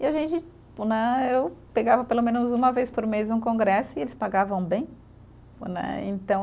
E a gente, né eu pegava pelo menos uma vez por mês um congresso e eles pagavam bem, né, então.